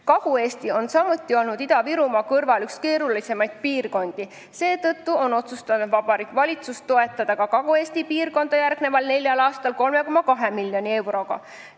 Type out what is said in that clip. Kagu-Eesti on Ida-Virumaa kõrval samuti olnud üks keerulisemaid piirkondi, mistõttu on Vabariigi Valitsus otsustanud toetada ka Kagu-Eesti piirkonda järgmisel neljal aastal 3,2 miljoni euroga.